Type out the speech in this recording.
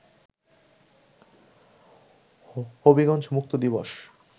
হবিগঞ্জ মুক্ত দিবস